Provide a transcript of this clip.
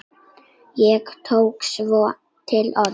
Ég tók svona til orða.